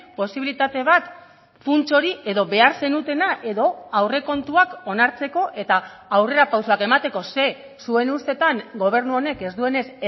posibilitate bat funts hori edo behar zenutena edo aurrekontuak onartzeko eta aurrera pausoak emateko ze zuen ustetan gobernu honek ez duenez